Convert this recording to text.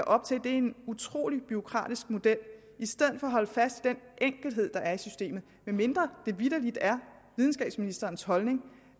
op til en utrolig bureaukratisk model i stedet for at holde fast i den enkelhed der er i systemet medmindre det vitterlig er videnskabsministerens holdning